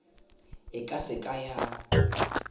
e ka se ka ya